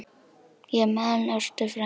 Ég man Ástu frænku.